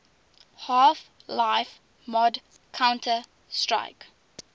half life mod counter strike